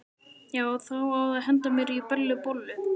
Já, og það á að henda mér í Bellu bollu.